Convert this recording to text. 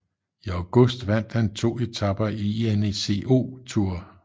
I august vandt han to etaper i ENECO Tour